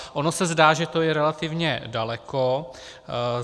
Ono se zdá, že to je relativně daleko.